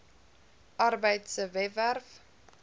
arbeid se webwerf